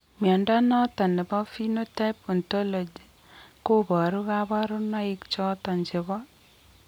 Mnyondo noton nebo Phenotype Ontology koboru kabarunaik choton chebo